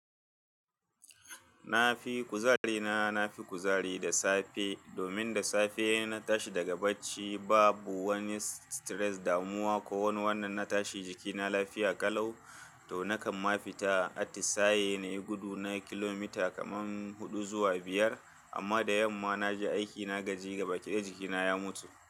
Na fi kuzari na, na fi kuzari da safe domin da safe na tashi daga bacci babu wani stress, damuwa ko wani wannan. Na tashi jikina lafiya ƙalau to nakan ma fita atisaye nayi gudu na kilomita kaman huɗu zuwa biyar amma da yamma naje aiki na gaji, gaba ƙidaya jikina ya mutu.